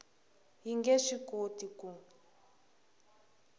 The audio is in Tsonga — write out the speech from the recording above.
yi nge swi koti ku